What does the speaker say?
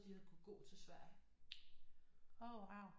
De havde kunnet gå til Sverige